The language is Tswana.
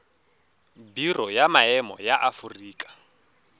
biro ya maemo ya aforika